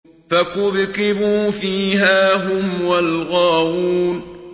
فَكُبْكِبُوا فِيهَا هُمْ وَالْغَاوُونَ